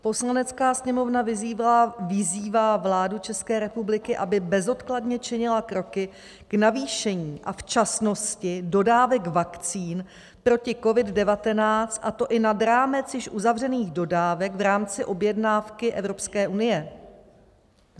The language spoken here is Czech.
"Poslanecká sněmovna vyzývá vládu České republiky, aby bezodkladně činila kroky k navýšení a včasnosti dodávek vakcín proti COVID-19, a to i nad rámec již uzavřených dodávek v rámci objednávky Evropské unie."